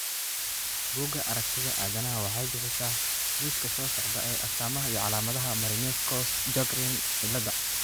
Bugaa aragtida aDdanaha waxay bixisaa liiska soo socda ee astamaha iyo calaamadaha Marinesco Sjogren ciladha.